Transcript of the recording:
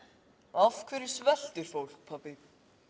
af hverju sveltir fólk pabbi